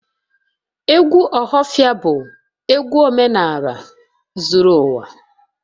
Egwu ohafia bu egwu omenaala zuru uwa